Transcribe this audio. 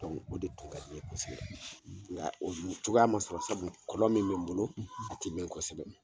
o de tun ka di n ye kosɛbɛ nka o cogoya ma sɔrɔ sabu kɔlɔn min bɛ n bolo a tɛ mɛɛn kosɛbɛ